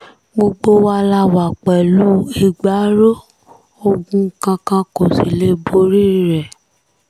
gbogbo wa la wà pẹ̀lú ìgbárò ogun kankan kó sì lè borí rẹ̀